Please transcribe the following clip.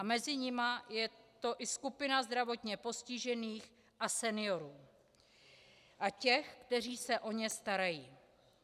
A mezi nimi je to i skupina zdravotně postižených a seniorů a těch, kteří se o ně starají.